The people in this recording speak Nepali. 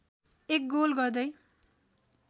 एक गोल गर्दै